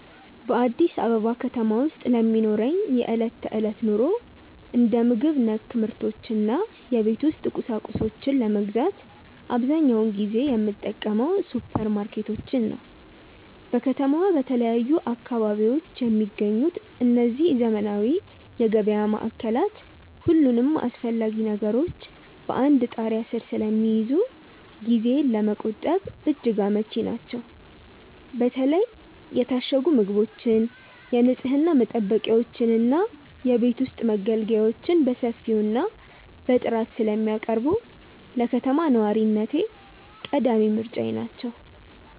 በአዲስ አበባ ከተማ ውስጥ ለሚኖረኝ የዕለት ተዕለት ኑሮ፣ እንደ ምግብ ነክ ምርቶች እና የቤት ውስጥ ቁሳቁሶችን ለመግዛት አብዛኛውን ጊዜ የምጠቀመው ሱፐርማርኬቶችን ነው። በከተማዋ በተለያዩ አካባቢዎች የሚገኙት እነዚህ ዘመናዊ የገበያ ማዕከላት፣ ሁሉንም አስፈላጊ ነገሮች በአንድ ጣሪያ ስር ስለሚይዙ ጊዜን ለመቆጠብ እጅግ አመቺ ናቸው። በተለይ የታሸጉ ምግቦችን፣ የንፅህና መጠበቂያዎችን እና የቤት ውስጥ መገልገያዎችን በሰፊው እና በጥራት ስለሚያቀርቡ፣ ለከተማ ነዋሪነቴ ቀዳሚ ምርጫዬ ናቸው።